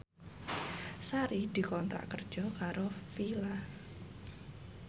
Sari dikontrak kerja karo Fila